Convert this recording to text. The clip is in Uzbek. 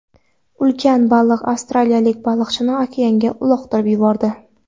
Ulkan baliq avstraliyalik baliqchini okeanga uloqtirib yubordi.